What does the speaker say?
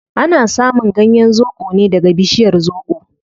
Ana samun ganyen zobo ne daga bishiyar zobo